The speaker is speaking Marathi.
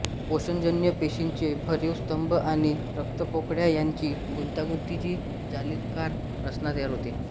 पोषजन्य पेशींचे भरीव स्तंभ आणि रक्तपोकळ्या यांची गुंतागुंतीची जालिकाकार रचना तयार होते